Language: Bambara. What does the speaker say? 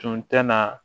Tun tɛ na